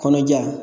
Kɔnɔja